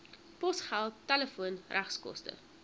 posgeld telefoon regskoste